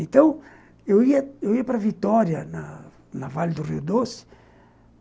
Então, eu ia eu ia para Vitória, na Vale do Rio Doce.